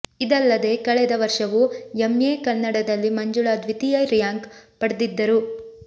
ಇದಲ್ಲದೇ ಕಳೆದ ವರ್ಷವೂ ಎಂಎ ಕನ್ನಡದಲ್ಲಿ ಮಂಜುಳಾ ದ್ವಿತೀಯ ರ್ಯಾಂಕ್ ಪಡೆದಿದ್ದರು